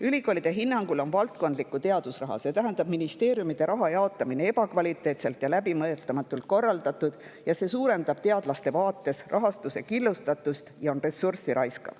Ülikoolide hinnangul on valdkondliku teadusraha, see tähendab ministeeriumide raha jaotamine ebakvaliteetselt ja läbimõtlematult korraldatud, see suurendab teadlaste vaates rahastuse killustatust ja raiskab ressurssi.